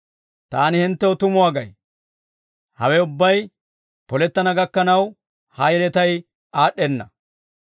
«Taani hinttew tumuwaa gay; hawe ubbay polettana gakkanaw ha yeletay aad'd'enna.